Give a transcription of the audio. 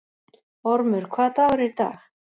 Ormur, hvaða dagur er í dag?